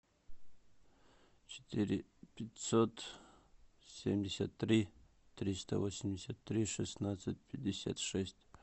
четыре пятьсот семьдесят три триста восемьдесят три шестнадцать пятьдесят шесть